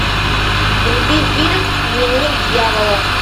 вруби фильм дневник дьявола